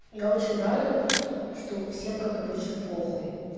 я очень рада что всем как обычно похуй